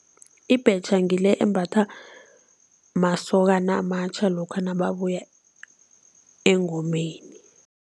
Ibhetjha ngile embathwa masokana amatjha lokha nababuya engomeni.